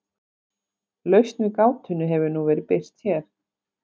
lausn við gátunni hefur nú verið birt hér